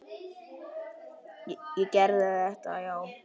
Ég gerði þetta, já.